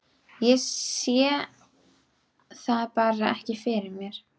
Ég sé það bara ekki fyrir mér.